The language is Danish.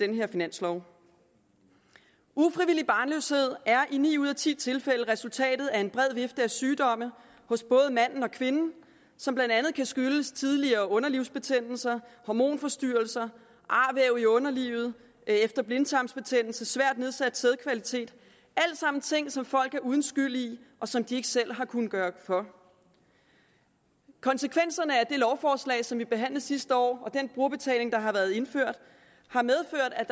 her finanslov ufrivillig barnløshed er i ni ud af ti tilfælde resultatet af en bred vifte af sygdomme hos både manden og kvinden som blandt andet kan skyldes tidligere underlivsbetændelser hormonforstyrrelser arvæv i underlivet efter blindtarmsbetændelse svært nedsat sædkvalitet alt sammen ting som folk er uden skyld i og som de ikke selv har kunnet gøre for konsekvenserne af det lovforslag som vi behandlede sidste år og den brugerbetaling der har været indført